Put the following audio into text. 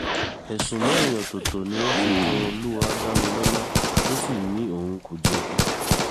ẹ̀sùn mẹ́rin ọ̀tọ̀ọ̀tọ̀ ni wọ́n fi kan olúwadámilọ́lá tó sì ní òun kò jẹ̀bi